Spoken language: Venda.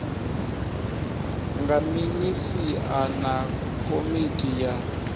nga minisia na komiti ya